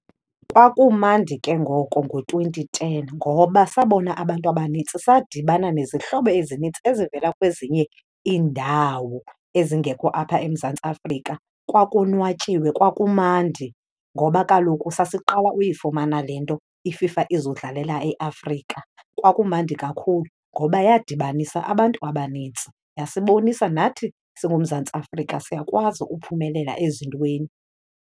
Kwakumandi ke ngoko ngo-twenty ten ngoba sabona abantu abanintsi, sadibana nezihlobo ezinintsi ezivela kwezinye iindawo ezingekho apha eMzantsi Afrika. Kwakonwatyiwe, kwakumandi ngoba kaloku sasiqala uyifumana le nto, iFIFA izodlalela eAfrika. Kwakumandi kakhulu ngoba yadibanisa abantu abanintsi, yasibonisa nathi singuMzantsi Afrika siyakwazi uphumelela ezintweni.